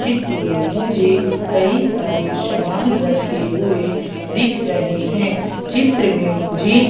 चित्र में मुझे कई सारे सामान रखे हुए दिख रहे हैं चित्र में मुझे--